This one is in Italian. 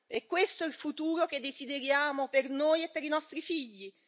È questo il futuro che desideriamo per noi e per i nostri figli?